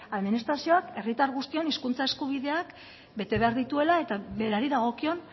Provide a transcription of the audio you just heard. administrazioak herritar guztion hizkuntza eskubideak bete behar dituela eta berari dagokion